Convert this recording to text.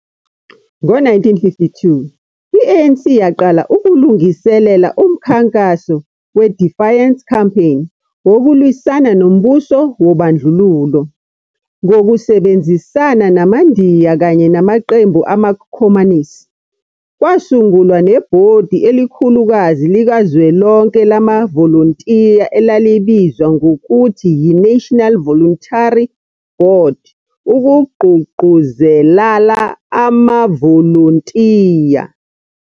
Ngo-1952, i-ANC yaqala ukulungiselela umkhankaso we- Defiance Campaign wokulwisana nombuso wobandlululo, ngokusebenzisana namaNdiya kanye namaqembu amakhomanisi, kwasungulwa nebhodi elikhulukazi likazwelonke lamavolontiya elalibizwa ngokuthi yi-National Voluntary Board ukuqgugquzelala amavolontiya.